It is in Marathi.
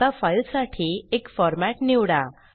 आता फाइल साठी एक फॉरमॅट निवडा